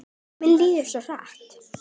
Tíminn líður svo hratt!